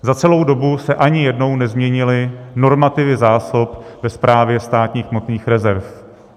Za celou dobu se ani jednou nezměnily normativy zásob ve Správě státních hmotných rezerv.